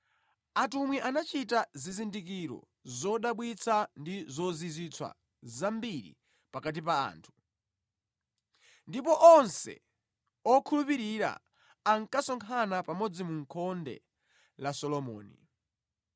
Atumwi anachita zizindikiro zodabwitsa ndi zozizwitsa zambiri pakati pa anthu. Ndipo onse okhulupirira ankasonkhana pamodzi mu Khonde la Solomoni.